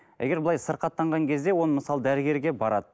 егер былай сырқаттаған кезде оны мысалы дәрігерге барады